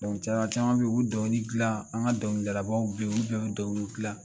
Cɛn na caman be yen u bi dɔnkili gilan, an ka dɔnkilidalanbaw be yen olu bɛɛ bi dɔnkili gilan.